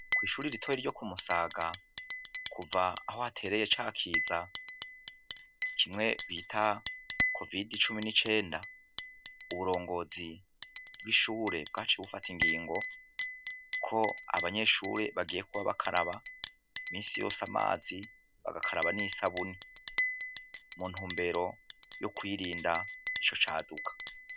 Kw'ishure ritoya ryo kumusaga kuva aho hatereye ca kiza citwa kovide cumi n'icenda, ubuyobozi bw'ishuri bwacuye bufata ingingo ko abanyeshure bagiye guhora bakaraba imisi yose amazi n'isabuni, mu ntumbero yo kwirinda ico kiza.